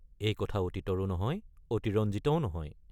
এই কথা অতীতৰো নহয়, অতিৰঞ্জিতও নহয়।